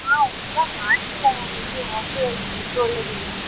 ಹಾ ಊಟ ಮಾಡ್ಲಿಲ್ಲ ನಾನು ಇಲ್ಲಿ hostel ಅಲ್ಲಿ food ಒಳ್ಳೆದಿಲ್ಲ.